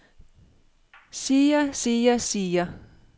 siger siger siger